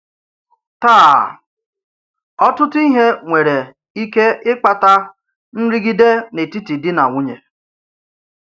Tàà, ọ̀tùtù ìhè̀ nwere ìkè ị̀kpàtà nrìgide n’etìtì dì na nwùnyè.